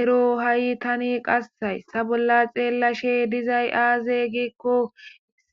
ero ha'i tan qas haysa bolla xelashe dizay aaze giko